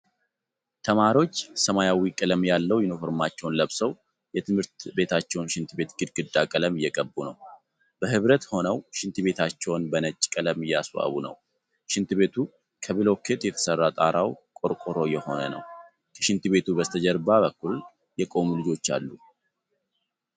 ተማሪዎች ሰማያዊ ቀለም ያለው ዩኒፈርማቸውን ለብሰው የትምህርት ቤታቸውን ሽንት ቤት ግድግዳ ቀለም እየቀቡ ነው። በህብረት ሆነው ሽንት ቤታቸውን በነጭ ቀለም እያስዋቡ ነው። ሽንት ቤቱ ከብሎኬት የተስራ ጣራው ቆርቆሮ የሆነ ነው። ከሽንት ቤቱ በስተጀርባ በኩል የቆሙ ልጆች አሉ።